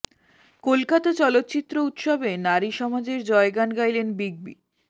কলকাতা চলচ্চিত্র উৎসবে নারী সমাজের জয়গান গাইলেন বিগ বি